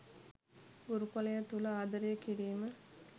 ගුරුකුලය තුල ආදරය කිරීම